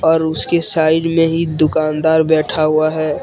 और उसके साइड में ही दुकानदार बैठा हुआ है।